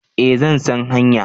Eh zan san hanya